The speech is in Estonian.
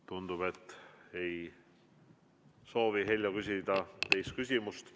Tundub, et ei soovi Heljo küsida teist küsimust.